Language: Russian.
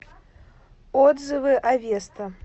отзывы авеста